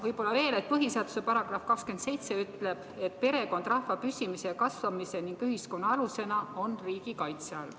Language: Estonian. Võib-olla veel, et põhiseaduse § 27 ütleb, et perekond rahva püsimise ja kasvamise ning ühiskonna alusena on riigi kaitse all.